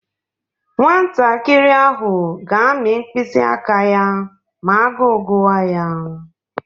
Nwantakịrị ahụ ga-amị mkpịsị aka ya ma agụụ guwa ya.